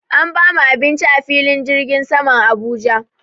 An bamu abinci a filin jirgin saman Abuja.